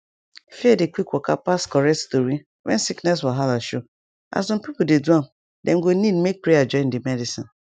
fear dey quick waka pass correct tori when sickness wahala show as some pipo dey do am dem go need make prayer join di medicine